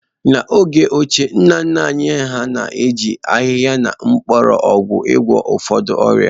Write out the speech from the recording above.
N’oge ochie, nna nna anyị hà na-eji ahịhịa na mgbọrọgwụ gwọọ ụfọdụ ọrịa